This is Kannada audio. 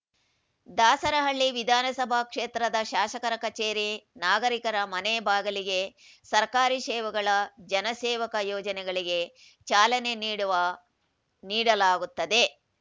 ದಾಸರಹಳ್ಳಿ ವಿಧಾನಸಭಾ ಕ್ಷೇತ್ರದ ಶಾಸಕರ ಕಚೇರಿ ನಾಗರಿಕರ ಮನೆ ಬಾಗಿಲಿಗೆ ಸರ್ಕಾರಿ ಸೇವೆಗಳ ಜನಸೇವಕ ಯೋಜನೆಗಳಿಗೆ ಚಾಲನೆ ನೀಡುವ ನೀಡಲಾಗುತ್ತದೆ